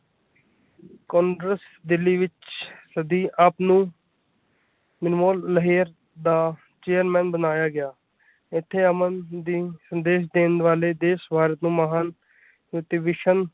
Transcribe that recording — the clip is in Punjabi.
ਕਾਂਗਰੇਸ ਦਿੱਲੀ ਵਿਚ ਸਦੀ ਆਪ ਨੂੰ ਮਨਮੋਹਨ ਲਹਿਅਰ ਦਾ ਚੇਅਰਮੈੱਨ ਬਣਾਇਆ ਗਿਆ ਇੱਥੇ ਅਮਨ ਦੇ ਸੰਦੇਸ਼ ਦੇਣ ਵਾਲੇ ਦੇ ਸਵਰ ਮਹਾਨ।